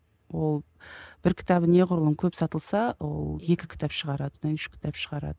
ол бір кітабы неғұрлым көп сатылса ол екі кітап шағарады одан кейін үш кітап шығарады